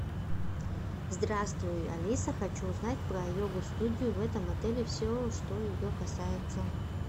здравствуй алиса хочу узнать про йогу студию в этом отеле все что ее касается